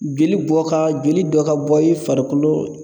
Jeli bɔ ka, jeli dɔ ka bɔ i farikolo